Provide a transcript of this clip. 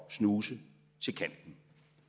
at snuse til kanten